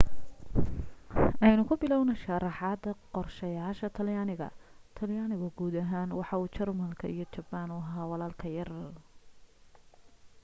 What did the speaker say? aynu ku bilowno sharraxaada qorshayaasha talyaaniga talyaanigu guud ahaan waxa uu jarmalka iyo jabbaan u ahaa walaalka yar